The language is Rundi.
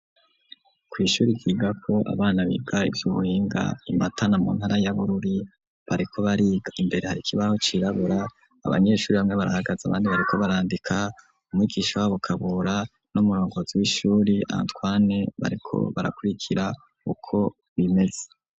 Ku ishure ryiga ko abana biga ivyubuhinga imatana mu ntara y'abururi bariko bariga imbere hari kibaho cirabura abanyeshure bamwe barahagaze abandi bariko barandika umwigisha wa Bukabura n'umurongozi w'ishuri Antoine bariko barakurikira uko bimeze.